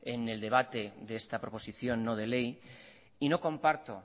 en el debate de esta proposición no de ley no comparto